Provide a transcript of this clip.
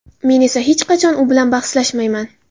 Men esa hech qachon u bilan bahslashmayman”.